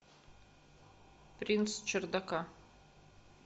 принц чердака